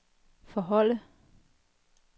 forholde